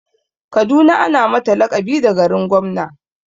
Kaduna ana mata laƙabi da garin gwamna.